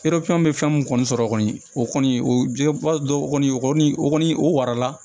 bɛ fɛn mun kɔni sɔrɔ kɔni o kɔni o b'a dɔn o kɔni o kɔni o kɔni o wara la